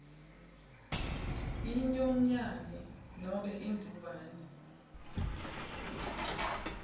inyonyane nobe imbumbe